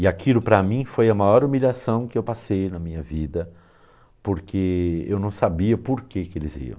E aquilo para mim foi a maior humilhação que eu passei na minha vida, porque eu não sabia por que que eles riam.